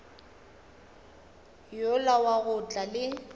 yola wa go tla le